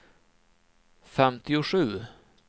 femtiosju